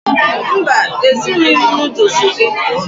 Mba, Ezughị m noodles gị